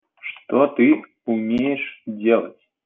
что ты умеешь делать